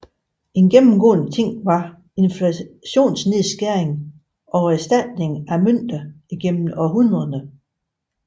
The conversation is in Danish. En gennemgående ting var inflationsnedskæring og erstatningen af mønter igennem århundrederne